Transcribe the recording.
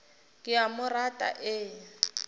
ke a mo rata e